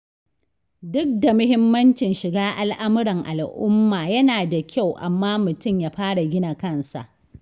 Duk da muhimmancin shiga al'amuran al'uma yana da kyau, amma mutum ya fara gina kansa.